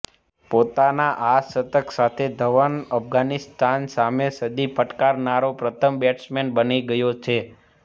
પોતાના આ શતક સાથે ધવન અફઘાનિસ્તાન સામે સદી ફટકારનારો પ્રથમ બેટ્સમેન બની ગયો છે